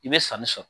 I bɛ sanni sɔrɔ